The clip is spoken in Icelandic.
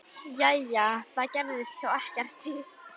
Jæja, það gerði þá ekkert til.